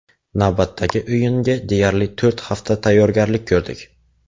Navbatdagi o‘yinga deyarli to‘rt hafta tayyorgarlik ko‘rdik.